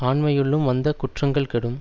ஆண்மையுள்ளும் வந்த குற்றங்கள் கெடும்